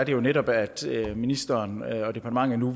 jo netop at ministeren og departementet nu